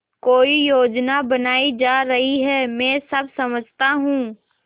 कोई योजना बनाई जा रही है मैं सब समझता हूँ